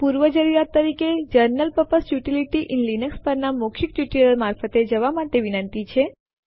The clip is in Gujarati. પૂર્વજરૂરિયાત તરીકે general purpose utilities in Linux પરના મૌખિક ટ્યુટોરીયલ મારફતે જવા માટે વિનંતી છે